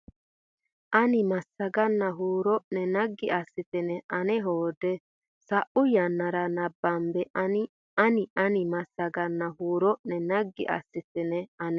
ani massaganna huuro ne naggi assitine ane hoode sa u yannara nabbabbe ani ani massaganna huuro ne naggi assitine ane.